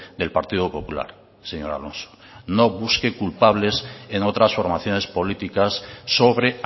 del partido popular señor alonso no busque culpables en otras formaciones políticas sobre